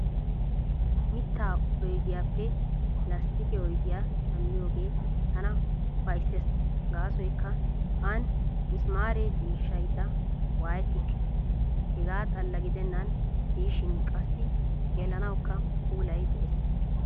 Mittaa oydiyaappe lasttiqe oydiyaa shammiyoogee tana ufayssees gaasoykka aani misimaare cishaydda waayettikke . Hegaa xalla gidennan diishin qassi xeellanawukka puulay de'ees.